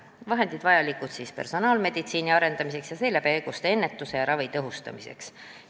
Need vahendid on vajalikud personaalmeditsiini arendamiseks ning seeläbi haiguste ennetuse ja ravi tõhustamiseks.